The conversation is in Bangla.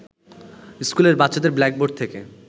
স্কুলের বাচ্চাদের ব্ল্যাকবোর্ড থেকে